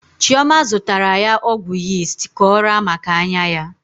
Chioma zụtara ya ọgwụ yist ka ọ raa maka anya ya.